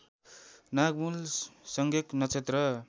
नागमूल संज्ञक नक्षत्र